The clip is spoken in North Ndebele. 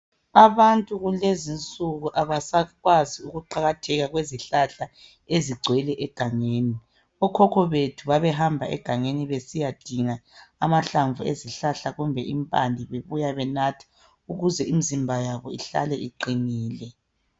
Abantu kulezinsuku abasakwazi ukuqakatheka kwezihlahla ezigcwele egangeni, okhokho bethu babehamba egangeni besiyadinga amahlamvu ezihlahla kumbe impande bebuya benatha ukuze imizimba yabo ihlale iqinile.